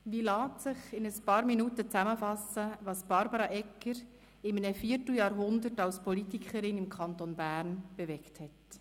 Wie lässt sich in ein paar Minuten zusammenfassen, was Barbara Egger in einem Vierteljahrhundert als Politikerin im Kanton Bern bewegt hat?